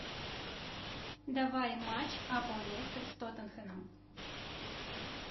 давай матч апл лестер с тоттенхэмом